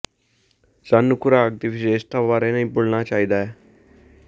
ਸਾਨੂੰ ਖੁਰਾਕ ਦੀ ਵਿਸ਼ੇਸ਼ਤਾਵਾਂ ਬਾਰੇ ਨਹੀਂ ਭੁੱਲਣਾ ਚਾਹੀਦਾ ਹੈ